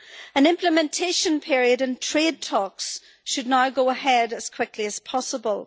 An implementation period and trade talks should now go ahead as quickly as possible.